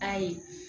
Ayi